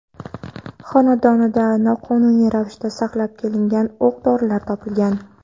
xonadonida noqonuniy ravishda saqlab kelingan o‘q dorilar topilgan.